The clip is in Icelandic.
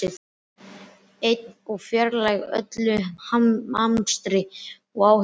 Ein og fjarlæg öllu amstri og áhyggjum.